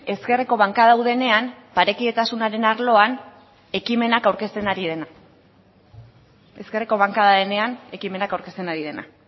ezkerreko bankada hau denean parekidetasunaren arloan ekimenak aurkezten ari dena ezkerreko bankada denean ekimenak aurkezten ari dena